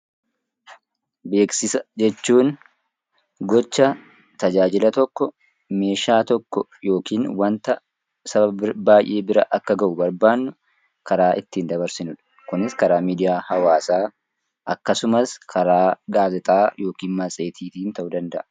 Beeksisa jechuun gocha tajaajila tokko, meeshaa tokko yookaan waanta saba baayyee bira akka gahu barbaannu karaa ittiin dabarsinudha. Kunis karaa miidiyaa hawaasaa akkasumas karaa gaazexaa, matseetiin ta'uu danda'a.